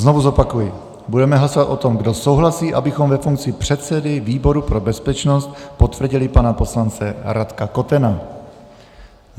Znovu zopakuji, budeme hlasovat o tom, kdo souhlasí, abychom ve funkci předsedy výboru pro bezpečnost potvrdili pana poslance Radka Kotena.